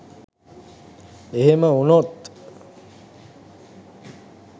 එහෙම වුනොත්